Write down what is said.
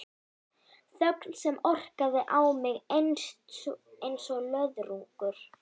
Þögn sem orkaði á mig einsog löðrungur.